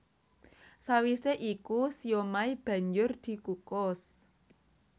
Sawisé iku siomai banjur dikukus